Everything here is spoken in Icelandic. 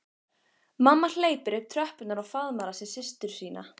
En á Laugarvatni gekk okkur rauðliðum furðu vel þessi misserin.